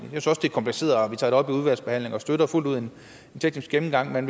kompliceret og vi tager det op i udvalgsbehandlingen og støtter fuldt ud en teknisk gennemgang men